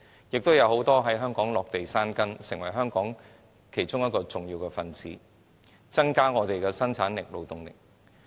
很多人在香港落地生根，成為香港重要的一分子，增加生產力和勞動力。